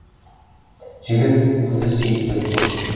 жігіт қызды сүйіп тұр екен